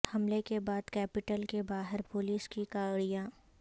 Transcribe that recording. حملے کے بعد کیپیٹل کے باہر پولیس کی گاڑیاں